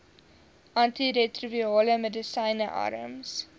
antiretrovirale medisyne arms